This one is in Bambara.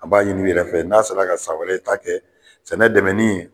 An b'a ɲini i yɛrɛ fɛ n'a sera ka san wɛrɛ ta kɛ sɛnɛ dɛmɛni